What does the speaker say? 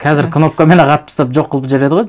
қазір кнопкамен ақ атып тастап жоқ қылып жібереді ғой